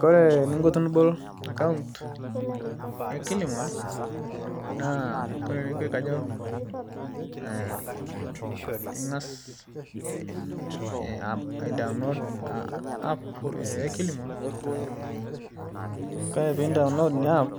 Kore ningo tinibol akaunt ekilimol naakore nekwe kajo ingas aidaolod ap ekilimol, Kore pidaolod nia ap